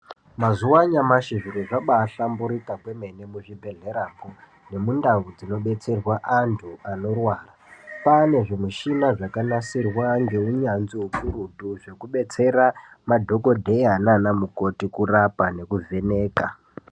Mazuva anyamashi zviro zvabahlamburuka kwemene muzvibhedhlera nemundau dzinodetserwa anhu anorwara kwane zvimushini zvakanasirwa neunyanzvi ukurutu zvekudetsera madhokodheya nana mukoti kurapa nekuvheneka.